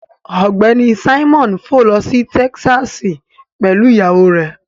Ọgbẹni Simon fò lọ si Tẹkisasi pẹlu iyawo rẹ